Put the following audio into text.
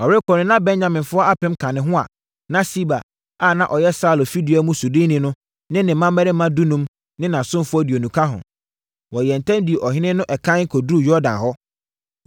Ɔrekɔ no, na Benyaminfoɔ apem ka ne ho a, na Siba a na ɔyɛ Saulo fidua mu soodoni, ne ne mmammarima dunum ne nʼasomfoɔ aduonu ka ho. Wɔyɛɛ ntɛm dii ɔhene no ɛkan kɔduruu Yordan hɔ.